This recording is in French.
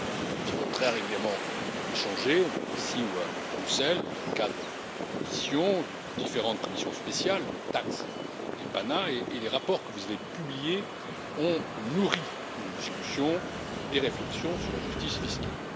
Nous avons très régulièrement échangé, ici ou à Bruxelles, dans le cadre d'auditions et de différentes commissions spéciales et les rapports que vous avez publiés ont nourri nos discussions et nos réflexions sur la justice fiscale.